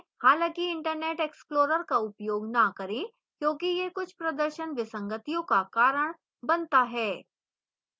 हालांकि internet explorer का उपयोग न करें क्योंकि यह कुछ प्रदर्शन विसंगतियों का कारण बनता है